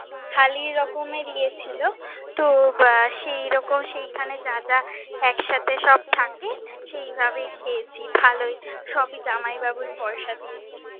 থালি রকমের ইয়ে ছিলো, তো সেই রকম সেই খানে যা যা এক সাথে সব থাকে, সেই ভাবেই খেয়েছি, ভালোই , সবই জামাই বাবু পয়সা দিয়েছে।